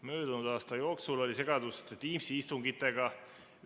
Möödunud aasta jooksul oli segadust Teamsi istungitega.